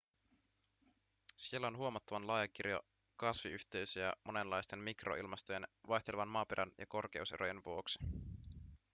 siellä on huomattavan laaja kirjo kasviyhteisöjä monenlaisten mikroilmastojen vaihtelevan maaperän ja korkeuserojen vuoksi